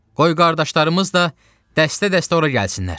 Qoy qardaşlarımız da dəstə-dəstə ora gəlsinlər.